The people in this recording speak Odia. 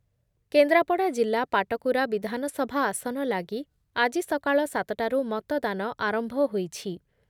କେନ୍ଦ୍ରାପଡ଼ା ଜିଲ୍ଲା ପାଟକୁରା ବିଧାନସଭା ଆସନ ଲାଗି ଆଜି ସକାଳ ସାତ ଟାରୁ ମତଦାନ ଆରମ୍ଭ ହୋଇଛି ।